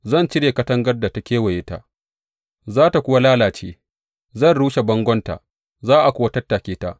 Zan cire katangar da ta kewaye ta, za tă kuwa lalace; zan rushe bangonta, za a kuwa tattake ta.